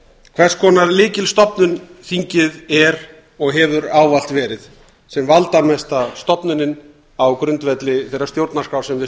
hvers konar lykilstofnun þingið er og hefur ávallt verið sem valdamesta stofnunin á grundvelli þeirrar stjórnarskrár sem við